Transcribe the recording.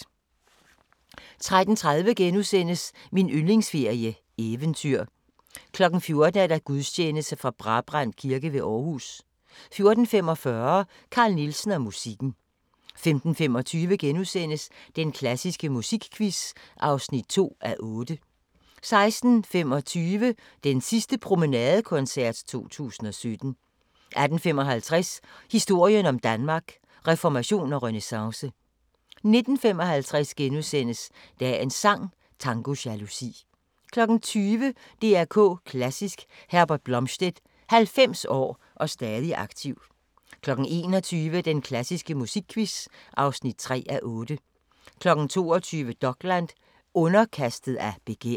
13:30: Min yndlingsferie: Eventyr * 14:00: Gudstjeneste fra Brabrand Kirke ved Aarhus 14:45: Carl Nielsen og musikken 15:25: Den klassiske musikquiz (2:8)* 16:25: Den sidste promenadekoncert 2017 18:55: Historien om Danmark: Reformation og renæssance 19:55: Dagens sang: Tango jalousi * 20:00: DR K Klassisk: Herbert Blomstedt – 90 år og stadig aktiv 21:00: Den klassiske musikquiz (3:8) 22:00: Dokland: Underkastet af begær